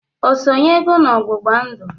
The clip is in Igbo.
O sonyego n'ọgbụgba ndụ?